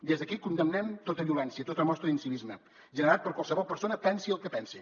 des d’aquí condemnem tota violència tota mostra d’incivisme generat per qualsevol persona pensi el que pensi